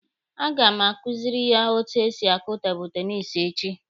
A ga m akuziri ya etu esi akụ tebụlụ tenisi echi.